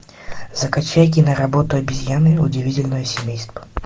закачай киноработу обезьяны удивительное семейство